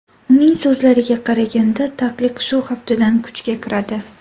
Uning so‘zlariga qaraganda, taqiq shu haftadan kuchga kiradi.